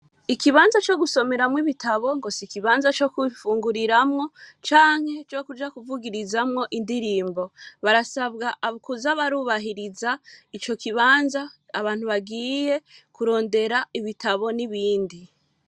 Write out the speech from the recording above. Ikibanza co gusomeramwo Ibitabo ,ngo sikibanza cogufunguriramwo, Canke cokuja kuvugirizamwo indirimbo, barasabwa kuja barubahiriza ICO kibanza, abantu bagiye kurondera ibitabo n'ibindi.